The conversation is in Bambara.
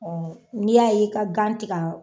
N'i y'a ye i ka gan tɛ ka